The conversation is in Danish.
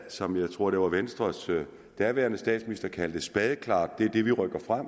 som jeg tror venstres daværende statsminister kaldte spadeklart og det er det vi rykker frem